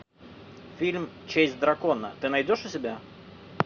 фильм честь дракона ты найдешь у себя